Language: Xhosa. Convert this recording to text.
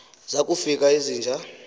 zaku fika izinja